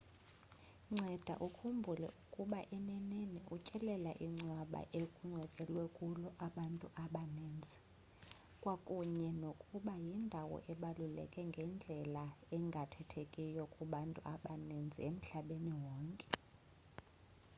nceda ukhumbule ukuba eneneni utyelela ingcwaba ekungcwatywe kulo abantu abaninzi kwakunye nokuba yindawo ebaluleke ngendlela engathethekiyo kubantu abaninzi emhlabeni wonke